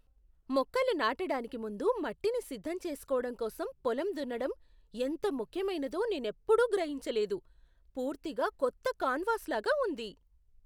మొక్కలు నాటడానికి ముందు మట్టిని సిద్ధం చేసుకోవడం కోసం పొలం దున్నడం ఎంత ముఖ్యమైనదో నేనెప్పుడూ గ్రహించలేదు. పూర్తిగా కొత్త కాన్వాస్లాగా ఉంది.